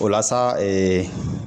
O la sa